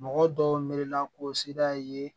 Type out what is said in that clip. Mɔgɔ dɔw miiri la ko sira ye